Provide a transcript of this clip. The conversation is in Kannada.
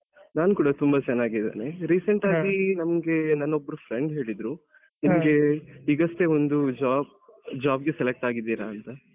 ನಾನ್ ಕೂಡ ತುಂಬಾ ಚೆನ್ನಾಗಿದೀನಿ recent ಆಗಿ ನಮ್ಗೆ ನನ್ ಒಬ್ರು friend ಹೇಳಿದ್ರು ನಿಮಿಗೆ ಈಗಷ್ಟೇ ಒಂದು job job ಗೆ select ಆಗಿದೀರಾ ಅಂತ.